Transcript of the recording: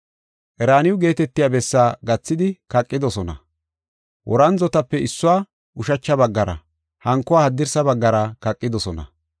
Qeraaniyo geetetiya bessaa gathidi kaqidosona. Worandzotape issuwa ushacha baggara hankuwa haddirsa baggara kaqidosona.